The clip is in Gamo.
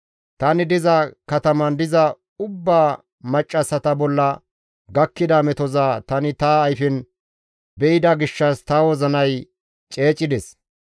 Tani diza kataman diza ubbaa maccassata bolla gakkida metoza tani ta ayfen be7ida gishshas ta wozinay ceecides.